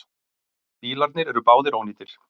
Bílarnir eru báðir ónýtir.